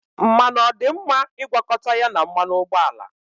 Mmanụ ọ dị mma ịgwakọta ya na mmanụ ụgbọala?